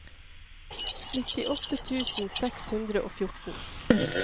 nittiåtte tusen seks hundre og fjorten